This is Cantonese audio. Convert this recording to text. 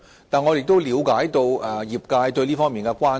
然而，我亦了解業界對這方面的關注。